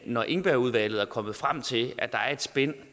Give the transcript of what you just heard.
når engbergudvalget er kommet frem til at der er et spænd